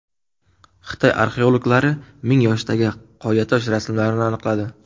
Xitoy arxeologlari ming yoshdagi qoyatosh rasmlarini aniqladi.